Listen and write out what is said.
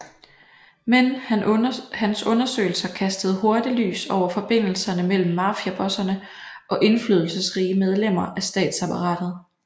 Men hans undersøgelser kastede hurtig lys over forbindelserne mellem mafiabosserne og indflydelsesrige medlemmer af statsapparatet